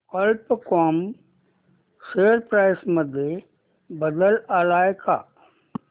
कल्प कॉम share price मध्ये बदल आलाय का